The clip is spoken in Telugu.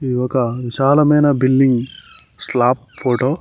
ఇది ఒక విశాలమైన బిల్డింగ్ స్లాప్ ఫోటో .